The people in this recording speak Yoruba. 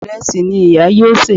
Ìrẹsì ni ìyá yóò sè